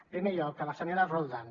en primer lloc a la senyora roldán